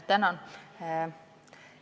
Tänan!